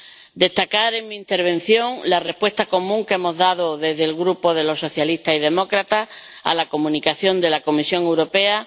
Quiero destacar, en mi intervención, la respuesta común que hemos dado desde el Grupo de los Socialistas y Demócratas a la Comunicación de la Comisión Europea.